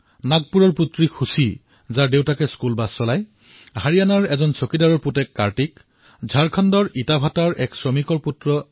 নাগপুৰৰ ছোৱালী খুশী যাৰ পিতৃ স্কুল বাছৰ চালক অথবা হাৰিয়াণাৰ কাৰ্তিক যাৰ পিতৃ চকীদাৰ অথবা ঝাৰখণ্ডৰ ৰমেশ সাহু যাৰ পিতৃ ইটাভাটাৰ শ্ৰমিক